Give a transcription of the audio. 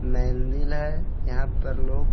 मेंदील है यहाँ पर लोग--